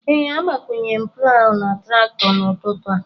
Ee, agbakwụnyere m plawụ ahụ na traktọ n'ụtụtụ a